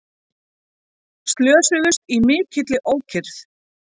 Slösuðust í mikilli ókyrrð